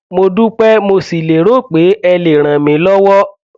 mo dúpẹ mo sì lérò pé ẹ lè ràn mí lọwọ